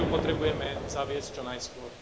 Preto ju potrebujeme zaviesť čo najskôr.